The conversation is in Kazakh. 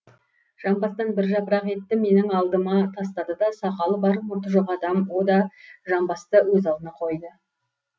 жамбастан бір жапырақ етті менің алдыма тастады да сақалы бар мұрты жоқ адам о да жамбасты өз алдына қойды